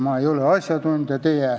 Ma ei ole asjatundja.